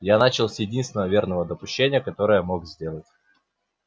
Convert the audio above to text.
я начал с единственного верного допущения которое мог сделать